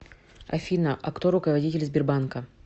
афина а кто руководитель сбербанка